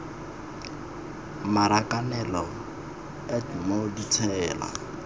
marakanelo a t moo ditsela